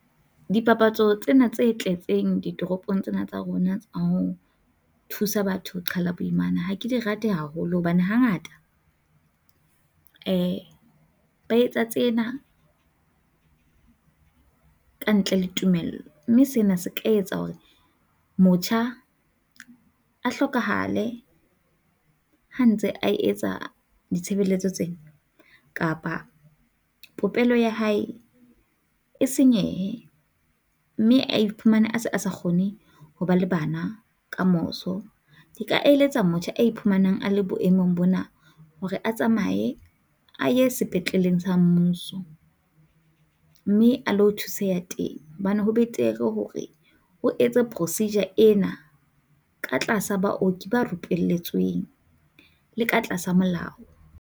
Dipapatso tsena tse tletseng ditoropong tsena tsa rona ho thusa batho ho qhala boimana ha ke di rate haholo hobane ha ngata ba etsa tsena ka ntle le tumello, mme sena se tla etsa hore motjha a hlokahale ha ntse a etsa ditshebeletso tsena kapa popelo ya hae e senyehe mme a iphumane a se a sa kgone ho ba le bana kamoso. Nka eletsa motjha a iphumanang a le boemong bona hore a tsamaye a ye sepetleleng sa mmuso mme a ilo thuseha teng hobane ho betere hore o etse procedure ena ka tlasa baoki ba rupelletsweng le ka tlasa molao.